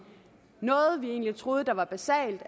noget vi egentlig troede var basalt